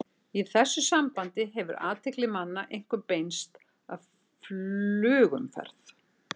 Í þessu sambandi hefur athygli manna einkum beinst að flugumferð.